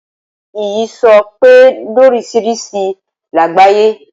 Ìyísòó pé lórisirisi làgbáyé